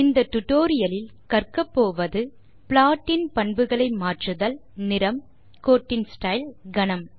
இந்த டுடோரியலின் இறுதியில் உங்களால் வருவனவற்றை செய்ய இயலும் ப்ளாட் இன் பண்புகளை மாற்றுதல் நிறம் கோட்டின் ஸ்டைல் கனம்